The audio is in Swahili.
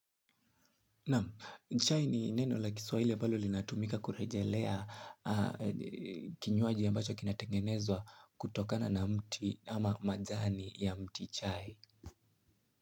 Naam chai ni neno la kiswahili ambalo linatumika kurejelea kinywaji ambacho kinatengenezwa kutokana na mti ama majani ya mti chai.